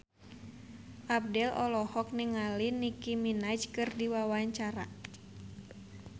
Abdel olohok ningali Nicky Minaj keur diwawancara